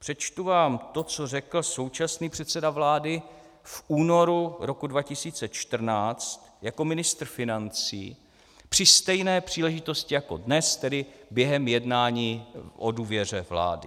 Přečtu vám to, co řekl současný předseda vlády v únoru roku 2014 jako ministr financí při stejné příležitosti jako dnes, tedy během jednání o důvěře vládě.